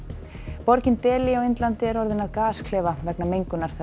borgin Dehli á Indlandi er orðin að gasklefa vegna mengunar